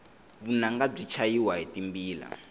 vunanga byi chayiwa hi timbila